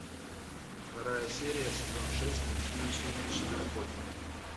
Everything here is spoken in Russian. вторая серия сезон шесть мультфильм сумеречные охотники